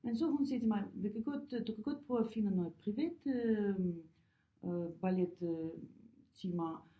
Men så hun siger til mig vi kan godt du kan godt prøve finde noget privat øh øh ballet øh timer